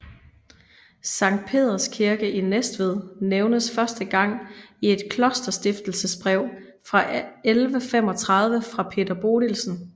Sankt Peders Kirke i Næstved nævnes første gang i et klosterstiftelsesbrev fra 1135 fra Peder Bodilsen